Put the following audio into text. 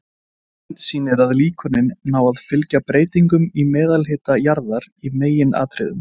Myndin sýnir að líkönin ná að fylgja breytingum í meðalhita jarðar í meginatriðum.